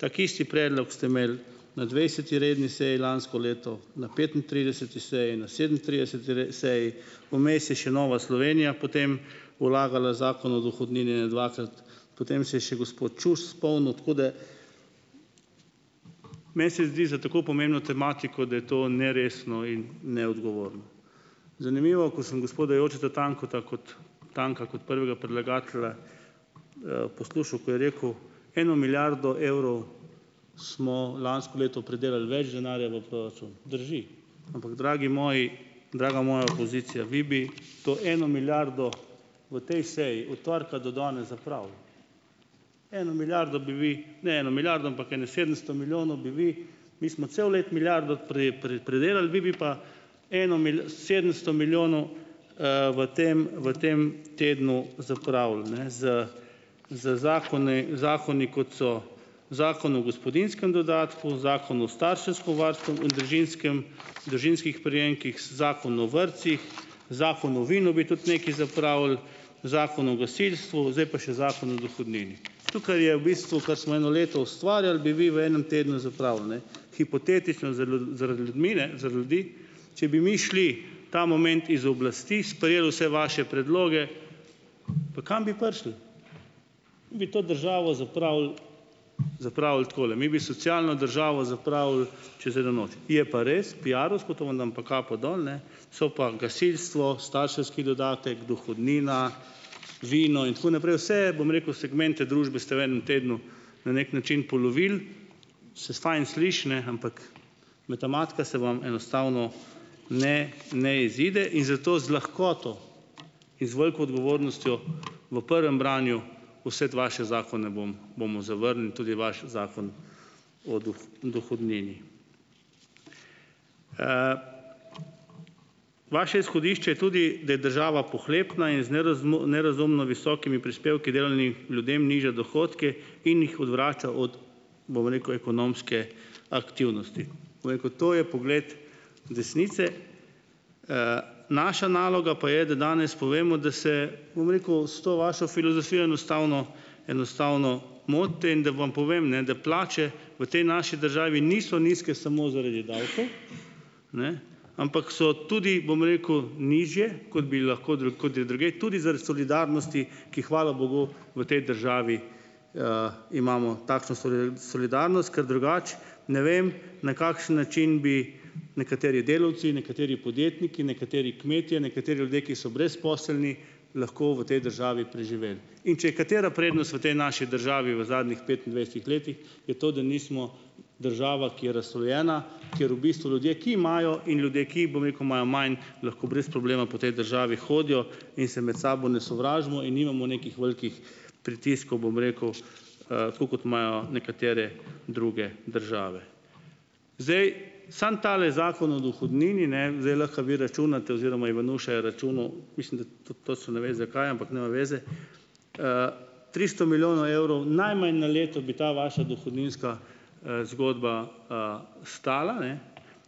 Tako isti predlog ste imeli na dvajseti redni seji lansko leto, na petintrideseti seji, na sedemintrideseti seji, vmes je še Nova Slovenija potem vlagala Zakon o dohodnini ene dvakrat, potem se je še gospod Čuš spomnil, tako da meni se zdi za tako pomembno tematiko, da je to neresno in neodgovorno. Zanimivo, ko sem gospoda Jožeta Tanka kot, Tanka, kot prvega predlagatelja poslušal, ko je rekel, eno milijardo evrov smo lansko leto pridelali več denarja v proračun. Drži, ampak dragi moji, draga moja opozicija, vi bi to eno milijardo v tej seji od torka do danes zapravili. Eno milijardo bi vi, ne eno milijardo, ampak ene sedemsto milijonov bi vi, mi smo celo leto milijardo pridelali, vi bi pa eno sedemsto milijonov, v tem, v tem tednu zapravili, ne, z z zakoni, zakoni, kot so Zakon o gospodinjskem dodatku, Zakon o starševskem varstvu in družinskem, družinskih prejemkih, z Zakonom o vrtcih, Zakonu o vinu bi tudi nekaj zapravili, Zakonu o gasilstvu, zdaj pa še Zakon o dohodnini. Tukaj je v bistvu, kar smo eno leto ustvarjali, bi vi v enem tednu zapravili, ne. Hipotetično zal, zaradi ljudmi, ne, za ljudi. Če bi mi šli ta moment iz oblasti, sprejeli vse vaše predloge, pa kam bi prišli. Bi to državo zapravili zapravili takole, mi bi socialno državo zapravili čez eno noč. Je pa res piarovsko, to vam dam pa kapo dol, ne, so pa gasilstvo, starševski dodatek, dohodnina, vino in tako naprej. Vse, bom rekel, segmente družbe ste v enem tednu na neki način polovili, saj se fajn sliši, ne, ampak matematika se vam enostavno ne, ne izide. In zato z lahkoto in z veliko odgovornostjo v prvem branju vse te vaše zakone bom, bomo zavrnili in tudi vaš Zakon o dohodnini. Vaše izhodišče je tudi, da je država pohlepna in z nerazumno visokimi prispevki delavnih ljudem nižja dohodke in jih odvrača od, bom rekel, ekonomske aktivnosti. Bom rekel, to je pogled desnice. Naša naloga pa je, da danes povemo, da se, bom rekel, s to vašo filozofijo enostavno enostavno motite, in da vam povem, ne, da plače v tej naši državi niso nizke samo zaradi davkov, ne. Ampak so tudi, bom rekel, nižje, kot bi lahko drug, kot je drugje, tudi zaradi solidarnosti, ki, hvala bogu, v tej državi, imamo takšno solidarnost, ker drugače ne vem, na kakšen način bi nekateri delavci, nekateri podjetniki, nekateri kmetje, nekateri ljudje, ki so brezposelni, lahko v tej državi preživeli. In če je katera prednost v tej naši državi v zadnjih petindvajsetih letih, je to, da nismo država, ki je razslojena, ker v bistvu ljudje, ki imajo, in ljudje, ki, bom rekel, imajo manj, lahko brez problema po tej državi hodijo in se med sabo ne sovražimo in nimamo nekih velikih pritiskov, bom rekel, tako kot imajo nekatere druge države. Zdaj, samo tale Zakon o dohodnini, ne, zdaj lahko vi računate oziroma Ivanuša je računal, mislim, da tudi točno ne ve, zakaj, ampak nema veze, tristo milijonov evrov najmanj na leto bi ta vaša dohodninska, zgodba, stala, ne?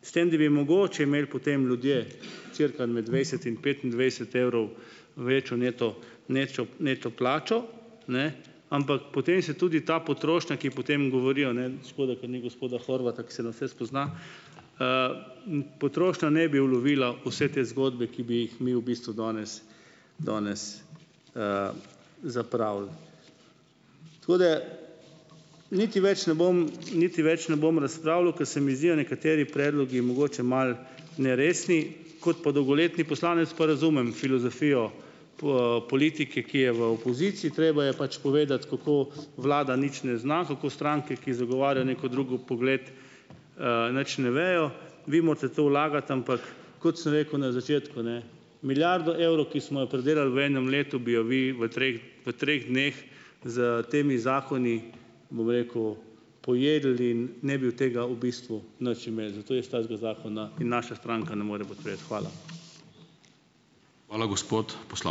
S tem da bi mogoče imeli potem ljudje cirka med dvajset in petindvajset evrov večjo neto neto, neto plačo. Ne? Ampak potem se tudi ta potrošnja, ki potem govorijo, ne, škoda, ker ni gospoda Horvata, ko se na vse spozna, potrošnja ne bi ulovila vse te zgodbe, ki bi jih mi v bistvu danes, danes, zapravili. Tako da niti več ne bom, niti več ne bom razpravljal, ker se mi zdijo nekateri predlogi mogoče malo neresni. Kot pa dolgoletni poslanec pa razumem filozofijo politike, ki je v opoziciji. Treba je pač povedati, kako vlada nič ne zna, kako stranke, ki zagovarjajo neki drug pogled, nič ne vejo. Vi morate to vlagati. Ampak, kot sem rekel na začetku, ne. Milijardo evrov, ki smo jo pridelali v enem letu, bi jo vi v treh v treh dneh s temi zakoni, bom rekel, pojedli in ne bi od tega v bistvu nič imeli. Zato jaz takega zakona in naša stranka ne more podpreti. Hvala.